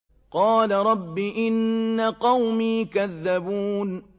قَالَ رَبِّ إِنَّ قَوْمِي كَذَّبُونِ